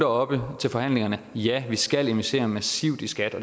oppe i forhandlingerne har ja vi skal investere massivt i skat